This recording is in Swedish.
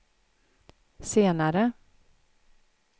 senare